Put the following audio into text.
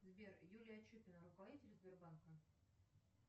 сбер юлия чупина руководитель сбербанка